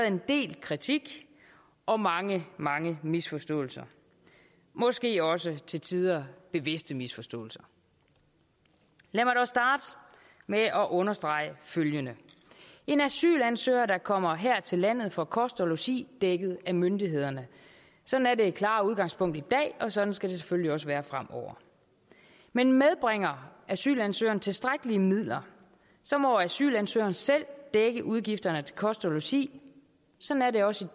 en del kritik og mange mange misforståelser måske også til tider bevidste misforståelser lad mig dog starte med at understrege følgende en asylansøger der kommer her til landet får kost og logi dækket af myndighederne sådan er det klare udgangspunkt i dag og sådan skal det selvfølgelig også være fremover men medbringer asylansøgeren tilstrækkelige midler må asylansøgeren selv dække udgifterne til kost og logi sådan er det også